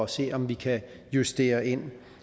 se om vi kan justere ind